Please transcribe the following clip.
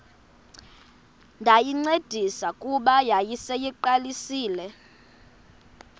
ndayincedisa kuba yayiseyiqalisile